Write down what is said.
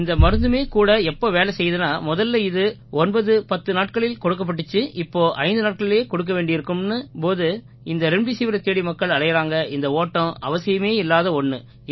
இந்த மருந்துமே கூட எப்போ வேலை செய்யுதுன்னா முதல்ல இது 910 நாட்களில் கொடுக்கப்பட்டிச்சு இப்போ ஐந்து நாட்களிலேயே கொடுக்க வேண்டி இருக்குன்னும் போது இந்த ரெம்டெசிவிரைத் தேடி மக்கள் அலையறாங்க இந்த ஓட்டம் அவசியமே இல்லாத ஒண்ணு